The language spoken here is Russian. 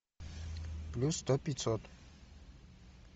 плюс сто пятьсот